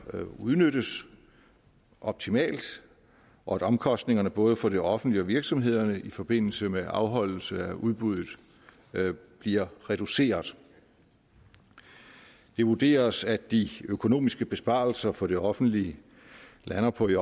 udnyttes optimalt og at omkostningerne både for det offentlige og virksomhederne i forbindelse med afholdelse af udbuddet bliver reduceret det vurderes at de økonomiske besparelser for det offentlige lander på i